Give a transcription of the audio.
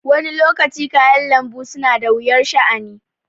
Wani lokacin kayan lanbu suna da wuyar sha' ani